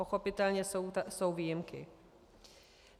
Pochopitelně jsou výjimky.